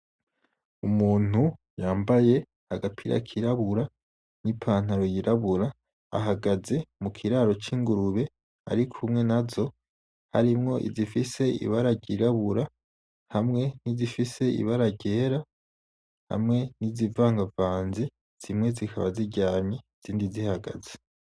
Umuntu yambaye agapira kirabura n'ipantaro yirabura, ahagaze mu kiraro c'ingurube arikumwe nazo harimwo izifise ibara ryirabura hamwe nizifise ibara ryera hamwe nizivangavanze zimwe zikaba ziryamye izindi zihagaze.